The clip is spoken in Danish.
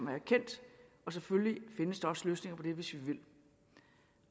har erkendt og selvfølgelig findes der også løsninger på det hvis vi vil